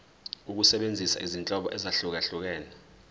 ukusebenzisa izinhlobo ezahlukehlukene